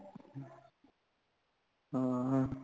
ਹਾਂ